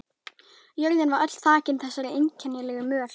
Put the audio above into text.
Jörðin var öll þakin þessari einkennilegu möl.